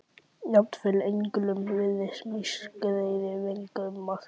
Jafnvel englum virðast mislagðir vængir um margt